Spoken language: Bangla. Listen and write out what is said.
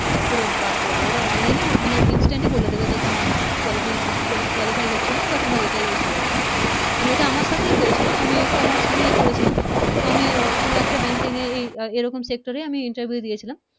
পুরো বাদ করে দিবে ওরা Online এ মানে Instant ই বলে দিবে যে তোমার Qualify হচ্ছে না বা তোমার এটাই Issu আছে এটা আমার সাথেই হয়েছিলো আমি Commerce নিয়ে পরেছিলাম তো আমি কোন একটা Banking এ এরকমই একটা Sector এ আমি Interview দিয়েছিলাম